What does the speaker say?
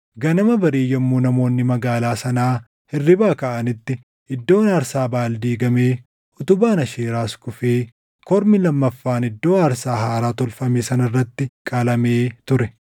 Ganama barii yommuu namoonni magaalaa sanaa hirribaa kaʼanitti iddoon aarsaa Baʼaal diigamee, utubaan Aasheeraas kufee kormi lammaffaan iddoo aarsaa haaraa tolfame sana irratti qalamee ture!